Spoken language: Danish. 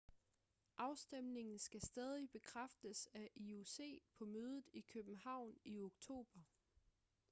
afstemningen skal stadig bekræftes af ioc på mødet i københavn i oktober